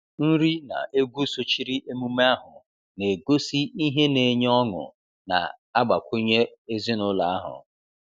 Nri na egwu sochiri emume ahụ, na-egosi ihe na-enye ọṅụ na-agbakwunye ezinụlọ ahụ.